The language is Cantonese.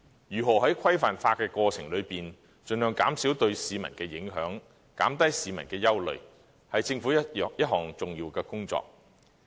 如何在規範化的過程中，盡量減少對市民的影響，減低市民的憂慮，是政府一項重要的工作。